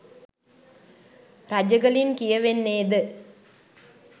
රජගලින් කියවෙන්නේද